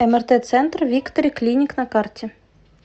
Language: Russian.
мрт центр виктори клиник на карте